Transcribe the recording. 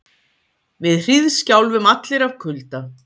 Við hríðskjálfum allir af kulda.